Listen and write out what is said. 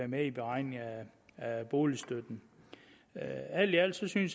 med i beregningen af boligstøtten alt i alt synes vi